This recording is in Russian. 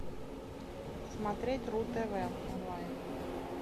смотреть ру тв онлайн